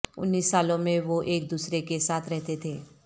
انیس سالوں میں وہ ایک دوسرے کے ساتھ رہتے تھے